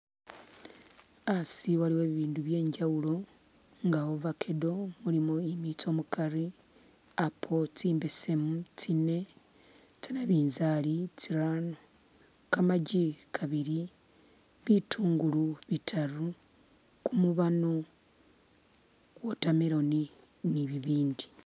Asi Waliwo ibindu bye injawulo nga avacado mulimo imiitso mukaari, apple tsimbeseemu tsiine, tse nabinzali tsiraano, kamaaki kabiili, bitungulu bitaaru, kumubano, watermelon ni bibindi.